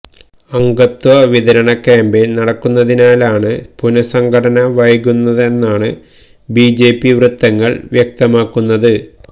അംഗത്വ വിതരണ ക്യാംപെയന് നടക്കുന്നതിനാലാണ് പുനഃസംഘടന വൈകുന്നതെന്നാണ് ബിജെപി വ്യത്തങ്ങള് വ്യക്തമാക്കുന്നത്